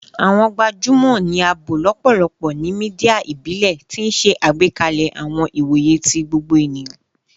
Awọn gbajumọ ni a bo lọpọlọpọ ni media ibile, ti n ṣe agbekalẹ awọn iwoye ti gbogbo eniyan